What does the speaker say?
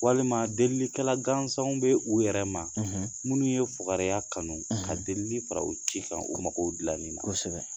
Walima delilikɛla gansanw bɛ u yɛrɛ ma, minnu ye fugariya kanu ka delili fara ci kan u magow dilanni na